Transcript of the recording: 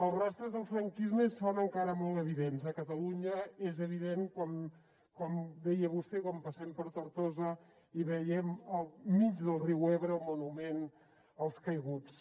els rastres del franquisme són encara molt evidents a catalunya és evident com deia vostè quan passem per tortosa i veiem al mig del riu ebre el monument als caiguts